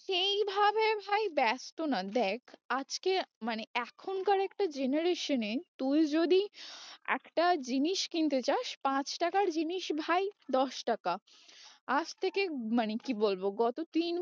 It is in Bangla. সেইভাবে ভাই ব্যস্ত না দেখ আজকে মানে এখনকার একটা generation এ তুই যদি একটা জিনিস কিনতে যাস পাঁচ টাকার জিনিস ভাই দশ টাকা, আজ থেকে মানে কি বলবো গত তিন